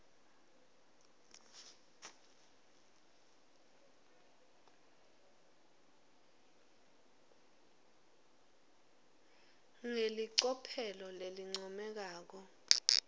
ngelicophelo lelincomekako